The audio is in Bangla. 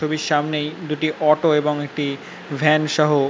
ছবির সামনেই দুটি অটো এবং একটি ভ্যান সহ--